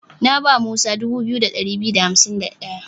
Na ba Musa 2251.